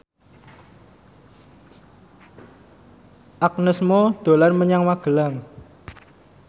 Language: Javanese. Agnes Mo dolan menyang Magelang